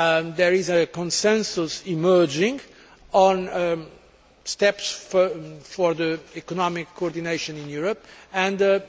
There is a consensus emerging on steps towards economic coordination in Europe, and